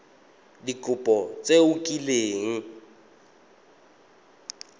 ka dikopo tse o kileng